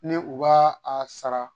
Ni u b' a sara.